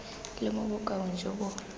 le mo bokaong jo bo